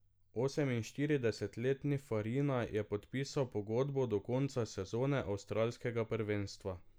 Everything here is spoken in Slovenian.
Oseminštiridesetletni Farina je podpisal pogodbo do konca sezone avstralskega prvenstva.